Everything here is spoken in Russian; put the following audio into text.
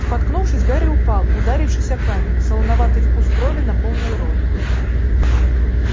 споткнувшись гарри упал ударившись о камень солоноватый вкус крови наполнил рот